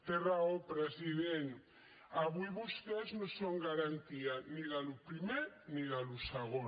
té raó president avui vostès no són garantia ni del primer ni del segon